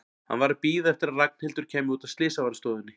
Hann var að bíða eftir að Ragnhildur kæmi út af slysavarðstofunni.